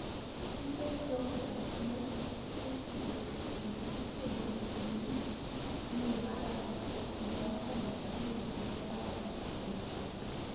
Piny Ethiopia ne osegolo chike makwedo jopiny dwe mar ariyo higa mar aluf ariyo gi apar gi aboro